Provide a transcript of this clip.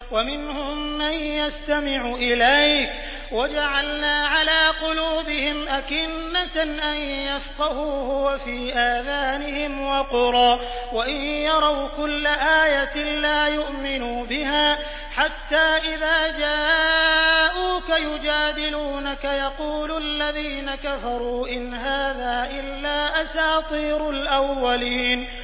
وَمِنْهُم مَّن يَسْتَمِعُ إِلَيْكَ ۖ وَجَعَلْنَا عَلَىٰ قُلُوبِهِمْ أَكِنَّةً أَن يَفْقَهُوهُ وَفِي آذَانِهِمْ وَقْرًا ۚ وَإِن يَرَوْا كُلَّ آيَةٍ لَّا يُؤْمِنُوا بِهَا ۚ حَتَّىٰ إِذَا جَاءُوكَ يُجَادِلُونَكَ يَقُولُ الَّذِينَ كَفَرُوا إِنْ هَٰذَا إِلَّا أَسَاطِيرُ الْأَوَّلِينَ